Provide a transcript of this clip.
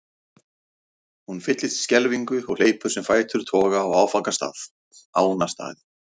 Hún fyllist skelfingu og hleypur sem fætur toga á áfangastað, Ánastaði.